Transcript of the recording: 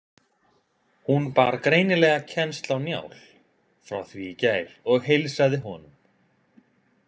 Hún bar greinilega kennsl á Njál frá því í gær og heilsaði honum.